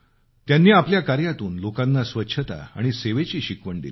त्यांनी आपल्या काऱ्यातून लोकांना स्वच्छता आणि सेवेची शिकवण दिली